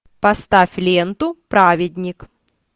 поставь ленту праведник